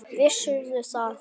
Vissirðu það?